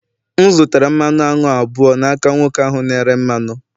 M zụtara mmanụ aṅụ abụọ n'aka nwoke ahụ na-ere mmanụ